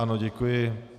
Ano, děkuji.